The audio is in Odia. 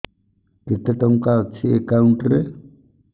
କେତେ ଟଙ୍କା ଅଛି ଏକାଉଣ୍ଟ୍ ରେ